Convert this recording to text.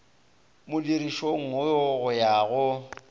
modirišong wo go ya go